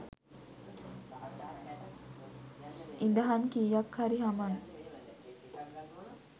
ඉදහන් කීයක් හරි හමන්